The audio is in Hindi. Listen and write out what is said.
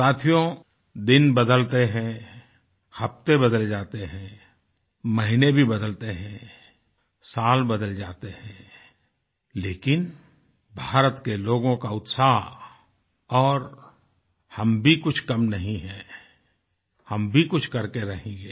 साथियो दिन बदलते हैं हफ्ते बदल जाते हैं महीने भी बदलते हैं साल बदल जाते हैं लेकिन भारत के लोगों का उत्साह और हम भी कुछ कम नहीं हैं हम भी कुछ करके रहेंगे